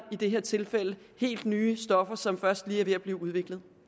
i det her tilfælde helt nye stoffer som først lige er ved at blive udviklet